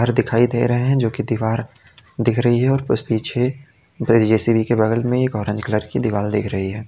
घर दिखाई दे रहे है जो कि दीवार दिख रही है और कुछ पीछे जेसीबी के बगल में एक ऑरेंज कलर की दीवार दिख रही है।